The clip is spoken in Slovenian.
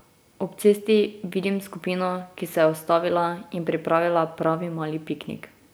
Ob cesti vidim skupino, ki se je ustavila in pripravila pravi mali piknik.